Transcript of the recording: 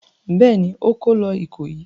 Bẹ́ẹ̀ ni, ó kó lọ Ìkòyí.